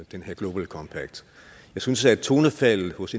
den her global compact jeg synes at tonefaldet hos